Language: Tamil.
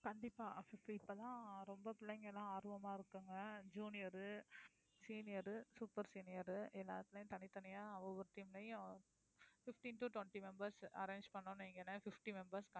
கண்டிப்பா இப்பயெல்லாம் ரொம்ப பிள்ளைங்கயெல்லாம் ஆர்வமா இருக்காங்க junior, senior, super senior எல்லாருமே தனித்தனியா ஒவ்வொரு team லயும் fifteen to twenty members arrange பண்ணோம்னு வைங்களேன் fifty members